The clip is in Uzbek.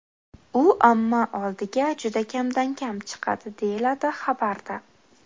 U omma oldiga juda kamdan-kam chiqadi, deyiladi xabarda.